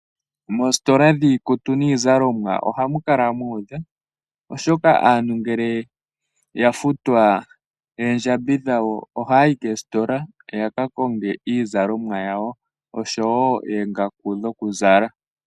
Moositola dhiizalomwa ohamu kala mu udha oshoka aantu ngele ya futwa oondjambi dhawo ohaya yi koositola yaka konge iizalomwa yawo oshowo oongaku dhokuzala.